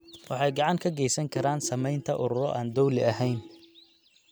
Waxay gacan ka geysan karaan sameynta ururro aan dowli ahayn.